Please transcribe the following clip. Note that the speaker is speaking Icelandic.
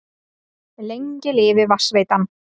Lengi lifi Vatnsveitan!